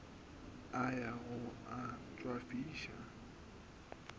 a ya go a tšwafiša